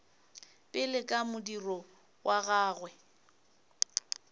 pele ka modiro wa gagwe